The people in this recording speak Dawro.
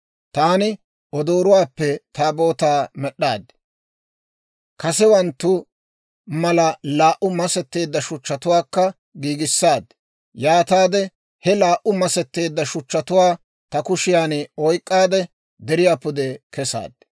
«Taani odooruwaappe Taabootaa med'd'aad. Kasewanttu mala laa"u masetteedda shuchchatuwaakka giigissaad; yaataade he laa"u masetteedda shuchchatuwaa ta kushiyan oyk'k'aade, deriyaa pude kesaad.